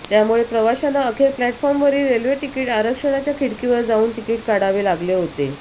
त्यामुळे प्रवाशांना अखेर प्लॅटफॉर्मवरील रेल्वे तिकिट आरक्षणाच्या खिडकीवर जाऊन तिकिट काढावे लागले होते